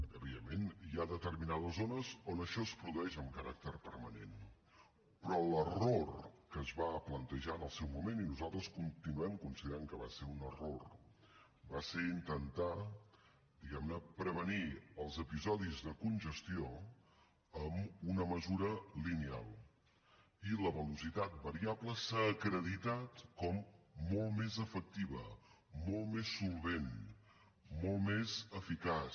evidentment hi ha determinades zones on això es produeix amb caràcter permanent però l’error que es va plantejar en el seu moment i nosaltres continuem considerant que va ser un error va ser intentar diguem ne prevenir els episodis de congestió amb una mesura lineal i la velocitat variable s’ha acreditat com molt més efectiva molt més solvent molt més eficaç